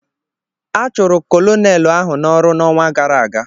A chụrụ kọlọnel ahụ n'ọrụ n'ọnwa gara aga.